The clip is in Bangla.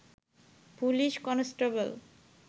police constable